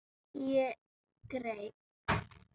Ég greip